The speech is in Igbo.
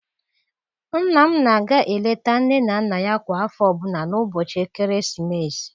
Nna m na-aga eleta nne na nna ya kwa afọ ọbula n'ụbọchị ekeresimesi.